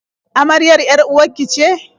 Amaryar 'yar-uwar ki ce?